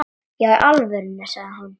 Já í alvöru, sagði hún.